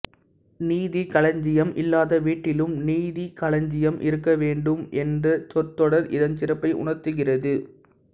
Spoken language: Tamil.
நிதிக்களஞ்சியம் இல்லாத வீட்டிலும் நீதிக்களஞ்சியம் இருக்க வேண்டும் என்ற சொற்றொடர் இதன் சிறப்பை உணர்த்துகிறது